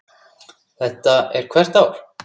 Þetta er hvert ár?